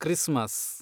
Christmas